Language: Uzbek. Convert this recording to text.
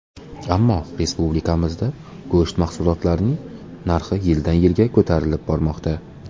Ammo respublikamizda go‘sht mahsulotlarining narxi yildan-yilga ko‘tarilib bormoqda.